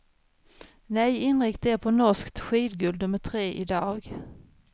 Nej, inrikta er på norskt skidguld nummer tre i dag.